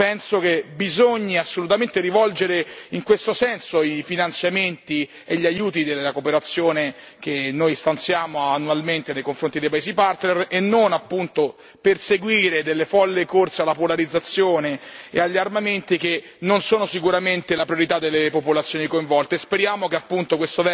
Da parte nostra, penso che bisogni assolutamente rivolgere in questo senso i finanziamenti e gli aiuti della cooperazione che noi stanziamo annualmente nei confronti dei paesi partner e non, appunto, per seguire delle folli corse alla polarizzazione e agli armamenti che non sono sicuramente la priorità delle popolazioni coinvolte.